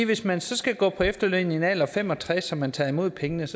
hvis man skal gå på efterløn i en alder af fem og tres og man tager imod pengene